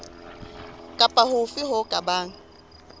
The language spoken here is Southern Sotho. kapa hofe ho ka bang